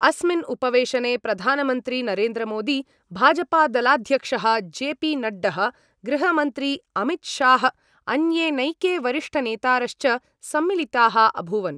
अस्मिन् उपवेशने प्रधानमन्त्री नरेन्द्र मोदी, भाजपादलाध्यक्षः जे पी नड्डः, गृहमंत्री अमितशाह अन्ये नैके वरिष्ठनेतारश्च सम्मिलिताः अभूवन्।